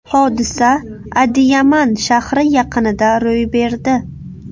Hodisa Adiyaman shahri yaqinida ro‘y berdi.